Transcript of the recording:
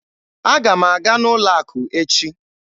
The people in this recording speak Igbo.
Aga m aga n'ụlọ akụ echi